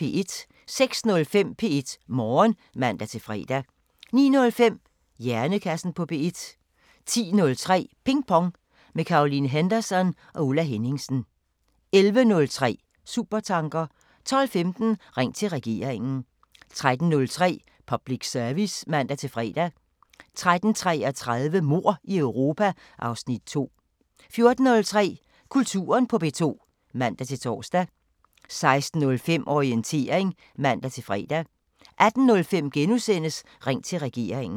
06:05: P1 Morgen (man-fre) 09:05: Hjernekassen på P1 10:03: Ping Pong – med Caroline Henderson og Ulla Henningsen 11:03: Supertanker 12:15: Ring til Regeringen 13:03: Public Service (man-fre) 13:33: Mord i Europa (Afs. 2) 14:03: Kulturen på P1 (man-tor) 16:05: Orientering (man-fre) 18:05: Ring til Regeringen *